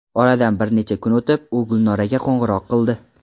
Oradan bir necha kun o‘tib, u Gulnoraga qo‘ng‘iroq qildi.